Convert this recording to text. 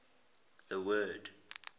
the word